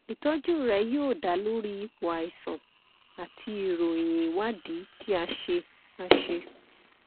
ìtọjú rẹ yóò da lórí ipò àìsàn àti ìròyìn ìwádìí tí a ṣe a ṣe